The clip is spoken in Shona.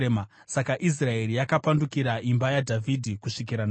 Saka Israeri yakapandukira imba yaDhavhidhi kusvikira nhasi.